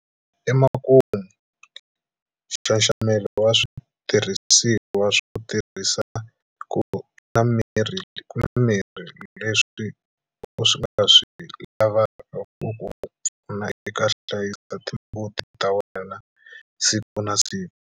Emakumu, nxaxamelo wa switirhisiwa swo tirhiseka na mirhi leswi u nga swi lavaka ku ku pfuna eku hlayiseni timbuti ta wena siku na siku.